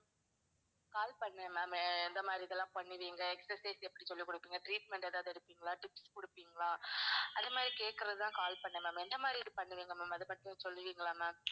call பண்ணேன் ma'am ஆஹ் எந்த மாதிரி இதுவெல்லாம் பண்ணுவீங்க exercise எப்படி சொல்லிக் குடுப்பீங்க, treatment எதாவது எடுப்பீங்களா? tips குடுப்பீங்களா? ஆஹ் அந்த மாதிரி கேக்குறதுக்கு தான் call பண்ணேன் ma'am. என்ன மாதிரி பண்ணுவீங்க ma'am, அதை பத்தி கொஞ்சம் சொல்லுவீங்களா ma'am?